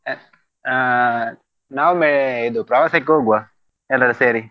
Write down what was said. ಅ ಆ ನಾವೊಮ್ಮೆ ಇದು ಪ್ರವಾಸಕ್ಕೆ ಹೋಗುವಾ ಎಲ್ರೂ ಸೇರಿ.